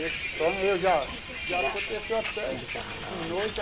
Esse sonho eu já já aconteceu até de noite.